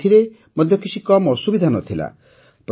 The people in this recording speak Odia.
କିନ୍ତୁ ଏଥିରେ ମଧ୍ୟ କିଛି କମ୍ ଅସୁବିଧା ନ ଥିଲା